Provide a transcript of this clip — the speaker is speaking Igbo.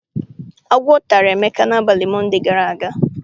Agwọ tara Emeka n'abalị Monde gara aga.